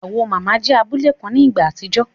Awo mama jẹ́ abule kan ní ìgbà àtijọ́